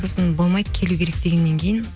сосын болмайды келу керек дегеннен кейін